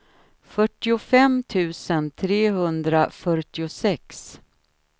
fyrtiofem tusen trehundrafyrtiosex